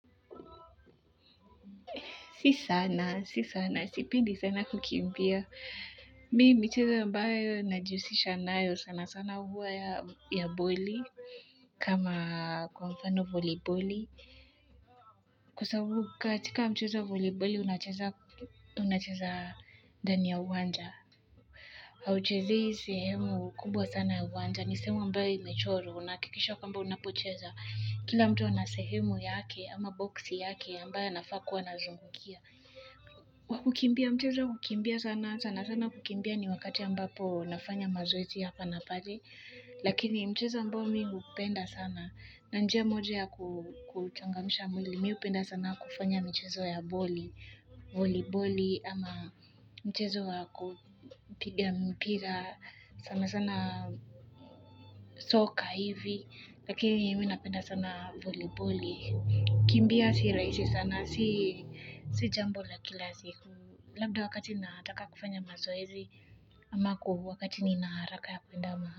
Si sana, si sana, sipendi sana kukimbia. Mimi michezo ambayo najihusisha nayo sana sana huwa ya boli kama kwa mfano voliboli. Kwa sababu katika mchezo wa voliboli unacheza ndani ya uwanja. Hauchezei sehemu kubwa sana ya uwanja. Ni sehemu ambayo imechorwa, unahakikisha kwamba unapocheza. Kila mtu ana sehemu yake ama boksi yake ambayo anafaa kuwa anazungukia. Kwa kukimbia mchezo wa kukimbia sana sana sana kukimbia ni wakati ambapo nafanya mazoezi ya hapa na pale lakini mchezo ambao mimi hupenda sana na njia moja ya kuchangamisha mwili mimi hupenda sana kufanya mchezo ya boli voli boli ama mchezo wa kupiga mpira sana sana soka hivi lakini mimi napenda sana voli boli kukimbia si rahisi sana si si jambo la kila siku labda wakati nataka kufanya mazoezi ama ku wakati nina haraka ya kuenda maha.